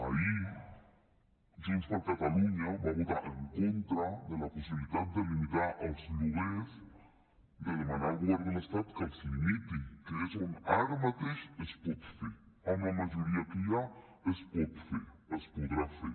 ahir junts per catalunya va votar en contra de la possibilitat de limitar els lloguers de demanar al govern de l’estat que els limiti que és on ara mateix es pot fer amb la majoria que hi ha es pot fer es podrà fer